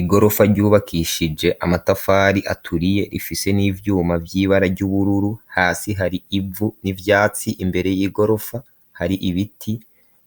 Igorofa, ryubakishije amatafari aturiye, rifise n'ivyuma, vy'ibara ry'ubururu, hasi hari ivu, n'ivyatsi; imbere y'igorofa, hari ibiti,